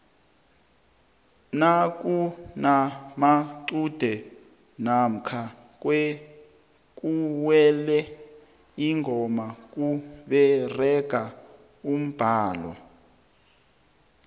nakunamacude namkha kuwele ingoma kuberega umbhalo